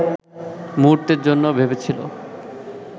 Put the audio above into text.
মুহূর্তের জন্য ভেবেছিল